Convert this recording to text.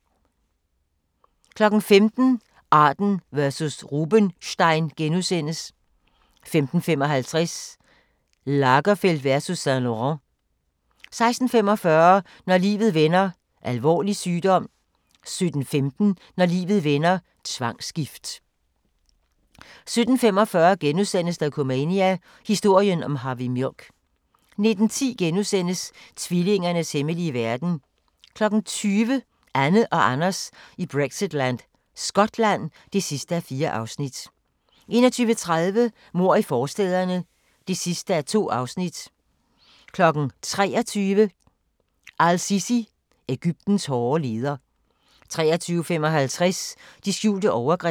15:00: Arden versus Rubenstein * 15:55: Lagerfeld versus Saint-Laurent 16:45: Når livet vender: Alvorlig sygdom 17:15: Når livet vender: Tvangsgift 17:45: Dokumania: Historien om Harvey Milk * 19:10: Tvillingernes hemmelige verden * 20:00: Anne og Anders i Brexitland: Skotland (4:4) 21:30: Mord i forstæderne (2:2) 23:00: Al-Sisi – Egyptens hårde leder 23:55: De skjulte overgreb